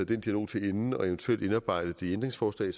den dialog til ende og eventuelt indarbejdet i et ændringsforslag